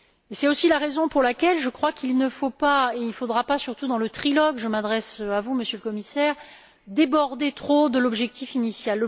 C'est aussi la raison pour laquelle je crois qu'il ne faudra pas, surtout dans le trilogue je m'adresse à vous, Monsieur le Commissaire déborder trop de l'objectif initial.